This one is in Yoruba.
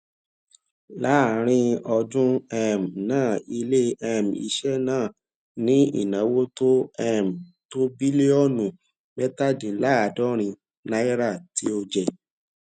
láàárín ọdún um náà ilé um iṣẹ náà ní ìnáwó tó um tó bílíọnù mẹtàdínláàádọrin náírà tí ó jẹ